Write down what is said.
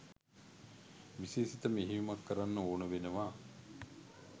විශේෂිත මෙහෙයුමක් කරන්න ඕන වෙනවා